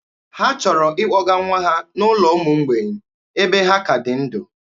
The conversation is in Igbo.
Ha chọrọ ịkpọga nwa ha n'ụlọ ụmụ mgbei ebe ha ka dị ndụ.